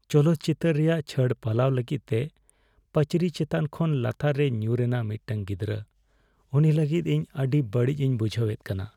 ᱪᱚᱞᱚᱛ ᱪᱤᱛᱟᱹᱨ ᱨᱮᱭᱟᱜ ᱪᱷᱟᱹᱲ ᱯᱟᱞᱟᱣ ᱞᱟᱹᱜᱤᱫ ᱛᱮ ᱯᱟᱹᱪᱨᱤ ᱪᱮᱛᱟᱱ ᱠᱷᱚᱱ ᱞᱟᱛᱟᱨ ᱨᱮᱭ ᱧᱩᱨᱮᱱᱟ ᱢᱤᱫᱴᱟᱝ ᱜᱤᱫᱽᱨᱟᱹ ᱾ ᱩᱱᱤ ᱞᱟᱹᱜᱤᱫ ᱤᱧ ᱟᱹᱰᱤ ᱵᱟᱹᱲᱤᱡᱤᱧ ᱵᱩᱡᱷᱦᱟᱹᱣ ᱮᱫ ᱠᱟᱱᱟ ᱾